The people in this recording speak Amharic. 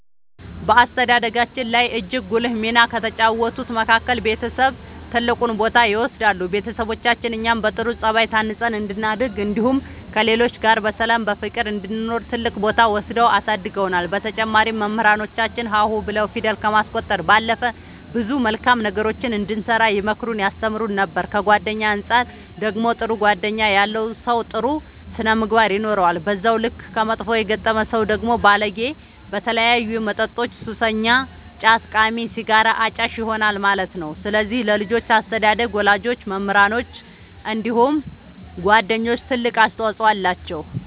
በአስተዳደጋችን ላይ እጅግ ጉልህ ሚና ከተጫወቱት መካከል ቤተሰብ ትልቁን ቦታ ይወስዳሉ ቤተሰቦቻችን እኛ በጥሩ ጸባይ ታንጸን እንድናድግ እንዲሁም ከሌሎች ጋር በሰላም በፍቅር እንድንኖር ትልቅ ቦታ ወስደው አሳድገውናል በተጨማሪም መምህራኖቻችን ሀ ሁ ብለው ፊደል ከማስቆጠር ባለፈ ብዙ መልካም ነገሮችን እንድንሰራ ይመክሩን ያስተምሩን ነበር ከጓደኛ አንፃር ደግሞ ጥሩ ጓደኛ ያለው ሰው ጥሩ ስነ ምግባር ይኖረዋል በዛው ልክ ከመጥፎ የገጠመ ሰው ደግሞ ባለጌ በተለያዩ መጠጦች ሱሰኛ ጫት ቃሚ ሲጋራ አጫሽ ይሆናል ማለት ነው ስለዚህ ለልጆች አስተዳደግ ወላጆች መምህራኖች እንዲሁም ጓደኞች ትልቅ አስተዋፅኦ አላቸው።